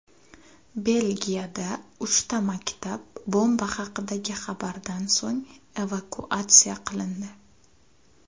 Belgiyada uchta maktab bomba haqidagi xabardan so‘ng evakuatsiya qilindi.